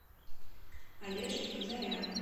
олежки казаряна